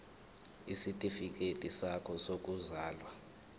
isitifikedi sakho sokuzalwa